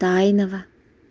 тайного